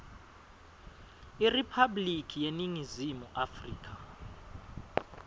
iriphabliki yeningizimu afrika